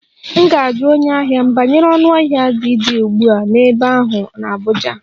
M ga-ajụ onye ahịa m banyere ọnụahịa ji dị ugbu a n'ebe ahụ n'Abuja